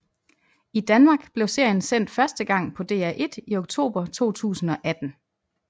I Danmark blev serien sendt første gang på DR1 i oktober 2018